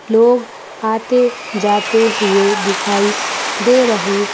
लोग आते जाते हुए दिखाई दे रहे--